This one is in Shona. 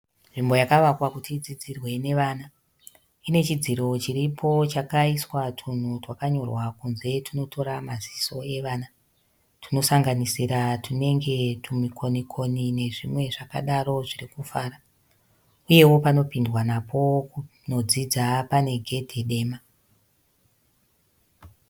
Nzvimbo yakavakwa kuti idzidzirwe nevana. Ine chidziro chiripo chakaiswa tunhu twakanyorwa kunze tunotora maziso evana tunosanganisira tunenge tumikonikoni nezvimwe zvakadaro zviri kufara uyewo panopindwa napo kunodzidza pane gedhe dema.